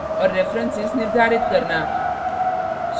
और references निर्धारित करना